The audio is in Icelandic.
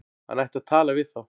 Hann ætti að tala við þá.